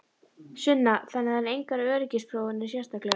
Sunna: Þannig það eru engar öryggisprófanir sérstaklegar?